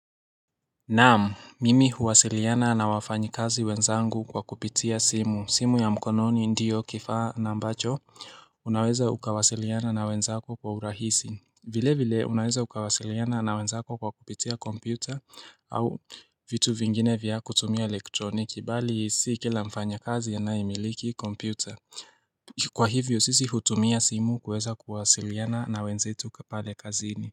Naam, mimi huwasiliana na wafanyikazi wenzangu kwa kupitia simu. Simu ya mkononi ndiyo kifaa na ambacho Unaweza ukawasiliana na wenzako kwa urahisi. Vile vile, unaweza ukawasiliana na wenzako kwa kupitia kompyuta au vitu vingine vya kutumia elektroniki, bali si kila mfanyakazi anaye miliki kompyuta. Kwa hivyo, sisi hutumia simu kuweza kuwasiliana na wenzetu pale kazini.